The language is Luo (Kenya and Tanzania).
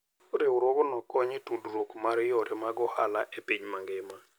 Riwruogno konyo e tudruok mar yore mag ohala e piny mangima.